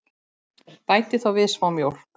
Bætið þá við smá mjólk.